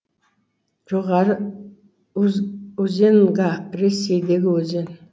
жоғары узеньга ресейдегі өзен